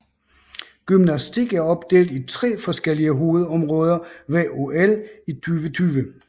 Gymnastik er opdelt i tre forskellige hovedområder ved OL i 2020